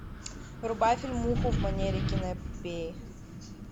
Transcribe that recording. врубай фильмуху в манере киноэпопеи